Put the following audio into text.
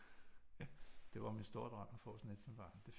Det var min store drøm at få sådan et som barn